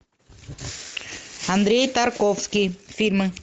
андрей тарковский фильмы